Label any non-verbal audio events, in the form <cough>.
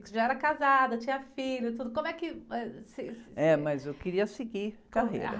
Você já era casada, tinha filhos, tudo, como é que você... <unintelligible> mas eu queria seguir a carreira.